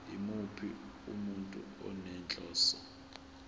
yimuphi umuntu onenhloso